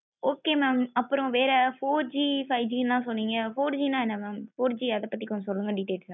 okay mam அப்பறம் வேற four Gfive G ல சொன்னிங்க four G ந என்ன mam four G அத பத்தி சொல்லுங்க details